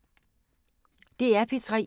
DR P3